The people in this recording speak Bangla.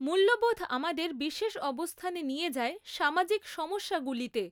মূল্যবোধ আমাদের বিশেষ অবস্থানে নিয়ে যায় সামাজিক সমস্যাগুলিতে।